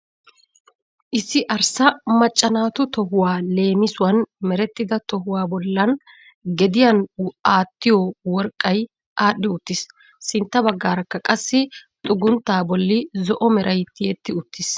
Issi arssa macca naatu tohuwaa lemissuwaan merettida tohuwaa bollan gediyaan aattiyoo worqqay aadhdhi uttiis. Sintta baggaarakka qassi xuggunttaa bolli zo"o meray tiyetti uttiis.